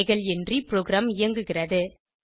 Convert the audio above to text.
பிழைகள் இன்றி ப்ரோகிராம் இயங்குகிறது